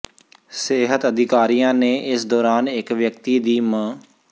ਸਿਹਤ ਅਧਿਕਾਰੀਆਂ ਨੇ ਇਸ ਦੌਰਾਨ ਇੱਕ ਵਿਅਕਤੀ ਦੀ ਮ